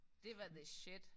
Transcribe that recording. Det var the shit